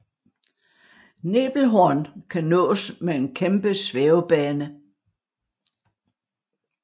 Nebelhorn kan nås med en kæmpe svævebane